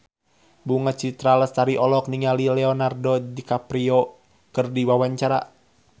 Bunga Citra Lestari olohok ningali Leonardo DiCaprio keur diwawancara